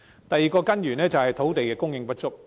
第二個根源，是土地供應不足。